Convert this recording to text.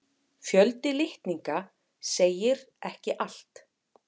Fjöldi litninga segir ekki allt.